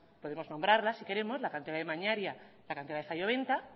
podemos nombrarla si queremos la cantera de mañaria la cantera de zalloventa